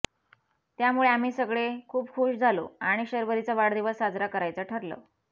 त्यामुळे आम्ही सगळे खूप खूश झालो आणि शर्वरीचा वाढदिवस साजरा करायचं ठरलं